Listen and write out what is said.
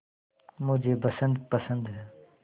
मुझे बसंत पसंद है